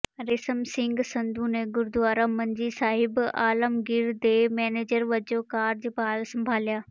ਰੇਸ਼ਮ ਸਿੰਘ ਸੰਧੂ ਨੇ ਗੁਰਦੁਆਰਾ ਮੰਜੀ ਸਹਿਬ ਆਲਮਗੀਰ ਦੇ ਮੈਨੇਜਰ ਵਜੋਂ ਕਾਰਜਭਾਰ ਸੰਭਾਲਿਆ